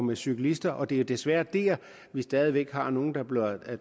og cyklister og det er desværre der vi stadig væk har nogle der bliver